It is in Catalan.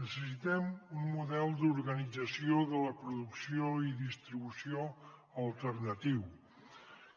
necessitem un model d’organització de la producció i distribució alternatiu